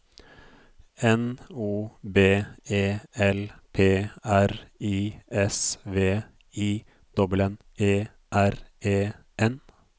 N O B E L P R I S V I N N E R E N